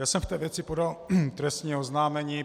Já jsem v té věci podal trestní oznámení.